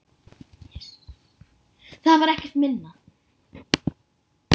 Sú varð og oftast raunin.